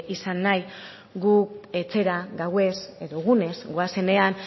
izan nahi gu etxera gauez edo egunez goazenean